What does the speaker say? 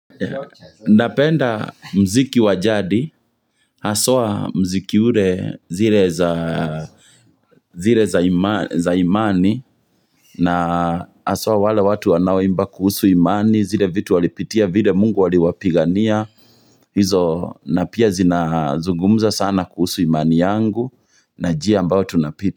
Napenda muziki wajadi, haswa muziki ule zile za zile za imani, na haswa wale watu wanao imba kuhusu imani, zile vitu walipitia, vile mungu waliwapigania, hizo napia zina zungumza sana kuhusu imani yangu, na jia ambao tunapita.